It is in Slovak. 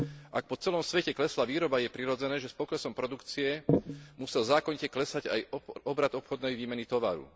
Ak po celom svete klesla výroba, je prirodzené, že s poklesom produkcie musel zákonite klesať aj obrat obchodnej výmeny tovaru.